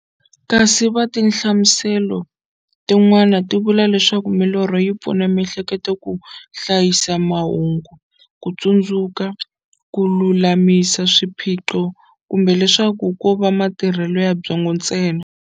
Kasi tinhlamuselo ti n'wana ti vula leswaku milorho yi pfuna miehleketo ka hlayisa mahungu, kutsundzuka, kululamisa swiphiqo, kumbe leswaku kova matirhele ya byongo ntsena.